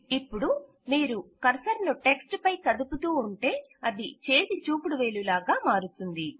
ఇపుడు మీరు కర్సర్ ను టెక్ట్స్ పై కదుపుతూ ఉంటే అది చేతిచూపుడువేలు లాగా మారుతుంది